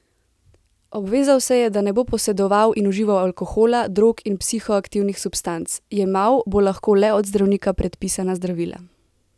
Obvezal se je, da ne bo posedoval in užival alkohola, drog in psihoaktivnih substanc, jemal bo lahko le od zdravnika predpisana zdravila.